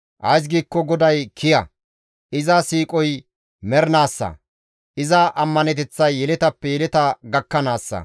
Ays giikko GODAY kiya; iza siiqoy mernaassa; iza ammaneteththay yeletappe yeleta gakkanaassa.